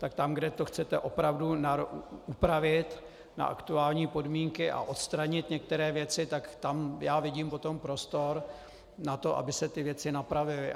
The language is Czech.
Tak tam, kde to chcete opravdu upravit na aktuální podmínky a odstranit některé věci, tak tam já vidím potom prostor na to, aby se ty věci napravily.